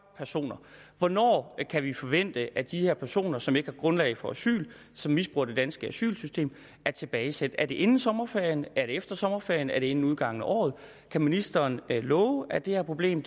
personer hvornår kan vi forvente at de her personer som ikke har grundlag for asyl og som misbruger det danske asylsystem er tilbagesendt er det inden sommerferien er det efter sommerferien er det inden udgangen af året kan ministeren love at det her problem